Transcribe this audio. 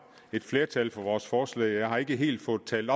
et flertal for vores forslag jeg har ikke helt fået talt